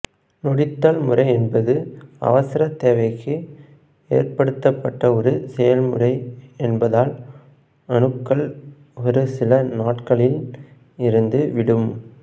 நொதித்தல் முறை என்பது அவசர தேவைக்கு ஏற்படுத்தப்பட்ட ஒரு செயல்முறை என்பதால் அணுக்கள் ஒரு சில நாட்களில் இறந்து விடும்